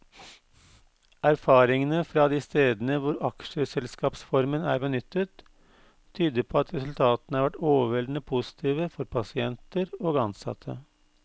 Erfaringene fra de stedene hvor aksjeselskapsformen er benyttet, tyder på at resultatene har vært overveldende positive for pasienter og ansatte.